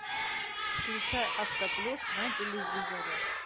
включай авто плюс на телевизоре